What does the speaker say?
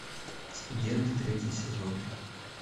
студенты третий сезон